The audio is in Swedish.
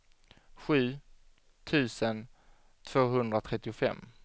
sju tusen tvåhundratrettiofem